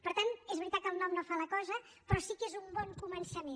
per tant és veritat que el nom no fa la cosa però sí que és un bon començament